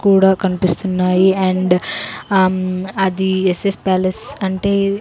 కూడా కన్పిస్తున్నాయి and um అది ఎస్ ఎస్ ప్యాలెస్ అంటే--